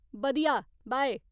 बधिया, बाय।